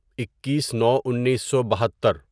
اکیس نو انیسو بھتتر